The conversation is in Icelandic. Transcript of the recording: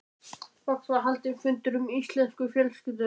Loks var haldinn fundur í fjölskyldunni.